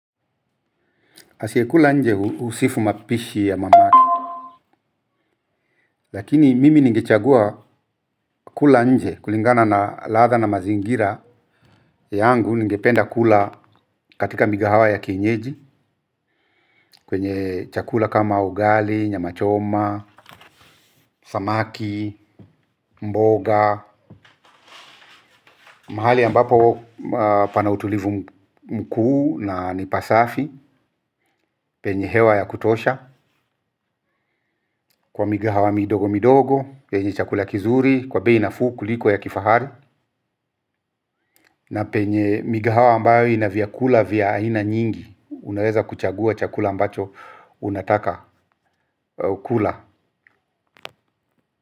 Asiyekula nje husifu mapishi ya mamake. Lakini mimi ningechagua kula nje kulingana na ladha na mazingira. Yangu ningependa kula katika migahawa ya kinyeji. Kwenye chakula kama ugali, nyama choma, samaki, mboga mahali ambapo pana utulivu mkuu na ni pasafi. Penye hewa ya kutosha kwa migahawa midogo midogo. Penye chakula kizuri, kwa bei nafuu kuliko ya kifahari na penye migahawa ambayo ina vyakula vya aina nyingi unaweza kuchagua chakula ambacho unataka kula.